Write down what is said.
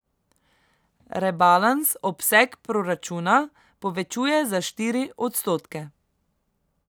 Rebalans obseg proračuna povečuje za štiri odstotke.